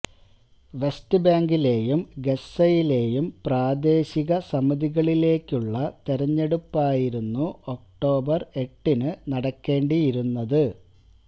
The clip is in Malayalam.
വെസ്റ്റ് ബാങ്കിലേയും ഗസ്സയിലെയും പ്രാദേശിക സമിതികളിലേക്കുള്ള തെരഞ്ഞെടുപ്പായിരുന്നു ഒക്ടോബര് എട്ടിനു നടക്കേണ്ടിയിരുന്നത്